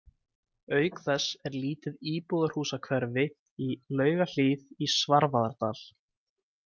Auk þess er lítið íbúðarhúsahverfi í Laugahlíð í Svarfaðardal.